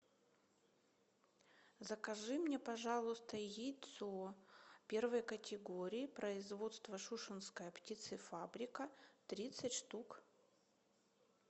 закажи мне пожалуйста яйцо первой категории производство тушинская птицефабрика тридцать штук